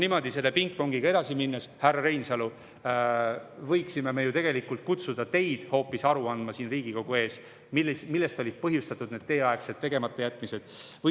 Niimoodi selle pingpongiga edasi minnes, härra Reinsalu, võiksime me ju tegelikult kutsuda teid hoopis siia Riigikogu ette aru andma, et millest olid põhjustatud teieaegsed tegematajätmised.